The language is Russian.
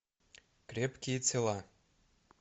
крепкие тела